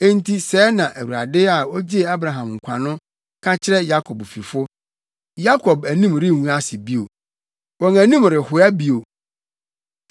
Enti sɛɛ na Awurade a ogyee Abraham nkwa no ka kyerɛ Yakob fifo: “Yakob anim rengu ase bio; wɔn anim rehoa bio.